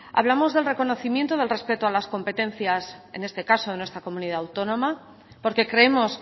hablamos del reconocimiento y del respeto a las competencias en este caso de nuestra comunidad autónoma porque creemos